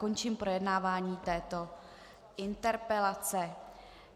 Končím projednávání této interpelace.